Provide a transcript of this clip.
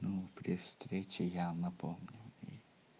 ну при встрече я напомню и